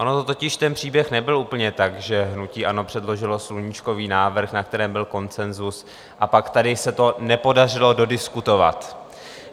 On totiž ten příběh nebyl úplně tak, že hnutí ANO předložilo sluníčkový návrh, na kterém byl konsenzus, a pak tady se to nepodařilo dodiskutovat.